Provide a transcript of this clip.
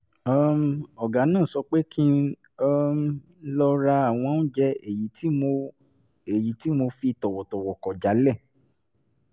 um ọ̀gá náà sọ pé kí um lọ ra àwọn oúnjẹ èyí tí mo èyí tí mo fi tọ̀wọ̀tọ̀wọ̀ kọ̀ jálẹ̀